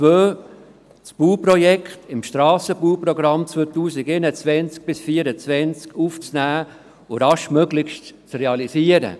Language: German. Der Punkt 2 verlangt, das Bauprojekt ins Strassenbauprogramm 2021–2024 aufzunehmen und raschestmöglich zu realisieren.